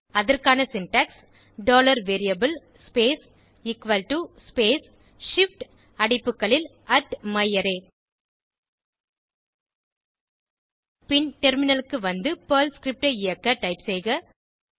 அதற்கான syntax variable space space shift அடைப்புகளில் myArray பின் டெர்மினலுக்கு வந்து பெர்ல் ஸ்கிரிப்ட் ஐ இயக்க டைப் செய்க